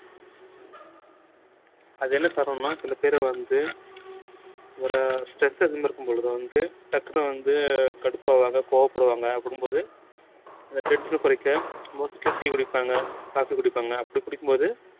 அது என்ன காரணம்னா சில பேரை வந்து ஒரு stress இருக்கும் பொழுது வந்து டக்குனு வந்து கடுப்பாவாக கோவப்படுவாங்க அப்படின்னும் போது இந்த tension அ குறைக்க mostly tea குடிப்பாங்க coffee குடிப்பாங்க அப்படி குடிக்கும் போது